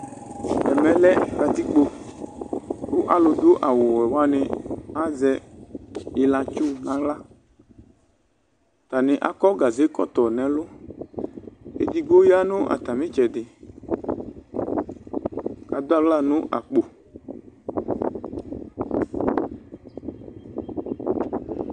Ɛmɛ lɛ kǝtikpo, ma lʋ dʋ awʋ wɛ wa nɩ azɛ ɩlatsʋ naɣlaAtanɩ akɔ gaze kɔtɔ nɛ lʋEdigbo ya nʋ atamɩ tsɛdɩ, adʋ aɣla nʋ akpo